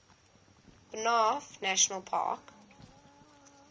banff national park